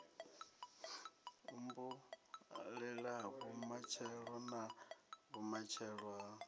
humbulelavho matshelo na vhumatshelo ha